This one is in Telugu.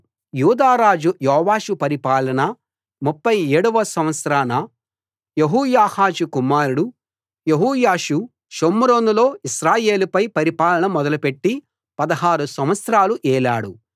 యూదారాజు యోవాషు పరిపాలనలో 37 వ సంవత్సరాన యెహోయాహాజు కుమారుడు యెహోయాషు షోమ్రోనులో ఇశ్రాయేలుపై పరిపాలన మొదలు పెట్టి 16 సంవత్సరాలు ఏలాడు